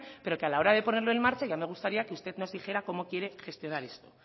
pero que a la hora de ponerlo en marcha ya me gustaría que usted nos dijera cómo quiere gestionar esto